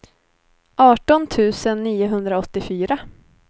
arton tusen niohundraåttiofyra